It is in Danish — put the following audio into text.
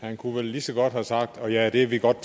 han kunne vel lige så godt have sagt og ja det er vi godt